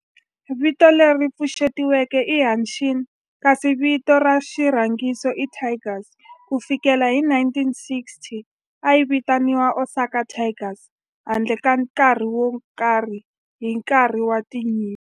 Vito leri pfuxetiweke i"Hanshin" kasi vito ra xirhangiso i"Tigers". Ku fikela hi 1960, a yi vitaniwa Osaka Tigers handle ka nkarhi wo karhi hi nkarhi wa nyimpi.